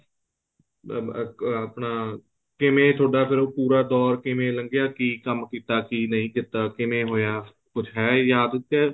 ਅਹ ਆਪਣਾ ਕਿਵੇਂ ਤੁਹਾਡਾ ਫ਼ੇਰ ਪੂਰਾ ਦੋਰ ਕਿਵੇਂ ਲੰਘਿਆ ਕੀ ਕੰਮ ਕੀਤਾ ਕੀ ਨਹੀਂ ਕੀਤਾ ਕਿਵੇਂ ਹੋਇਆ ਕੁੱਝ ਹੈ ਯਾਦ ਕੇ